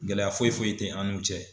Gɛlɛya foyi foyi tɛ an n'u cɛ.